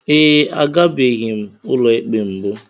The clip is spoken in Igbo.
Ee, agabeghi m ụlọikpe mbụ.